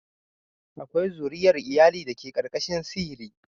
Akwai zuriyar iyali da ke ƙarƙashin sihiri.